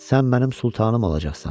Sən mənim Sultanım olacaqsan.